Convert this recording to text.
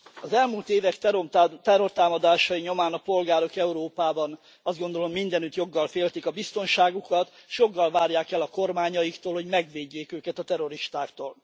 Az elmúlt évek terrortámadásai nyomán a polgárok Európában azt gondolom mindenütt joggal féltik a biztonságukat és joggal várják el a kormányaiktól, hogy megvédjék őket a terroristáktól.